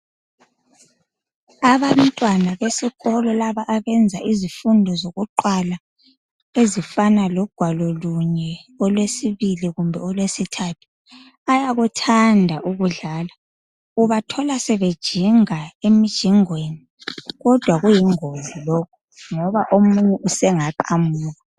Abantwana besikolo laba abenza izifundo zokuqala ezifana logwalo lunye, olwesibili kumbeni olwesithathu bayakuthanda ukudlala ubathola sebe jinga emijingweni kodwa kuyingozi lokho ngoba omunye usengaqamuka